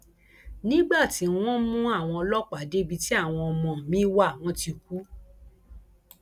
nígbà tí wọn mú àwọn ọlọpàá débi tí àwọn ọmọ mi wá wọn ti kú